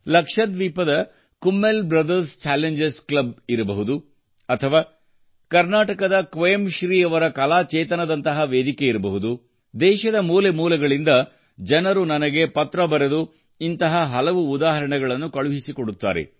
ಲಕ್ಷದ್ವೀಪದ Kummel brothers challengers club ಇರಬಹುದು ಅಥವಾ ಕರ್ನಾಟಕದ ಕ್ವೇಮ್ ಶ್ರೀ ಅವರ ಕಲಾಚೇತನದಂತಹ ವೇದಿಕೆಯಿರಬಹುದು ದೇಶದ ಮೂಲೆ ಮೂಲೆಗಳಿಂದ ಜನರು ನನಗೆ ಪತ್ರ ಬರೆದು ಹಲವು ಉದಾಹರಣೆಗಳನ್ನು ಕಳುಹಿಸಿಕೊಡುತ್ತಾರೆ